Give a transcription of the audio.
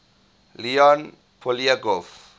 leon poliakov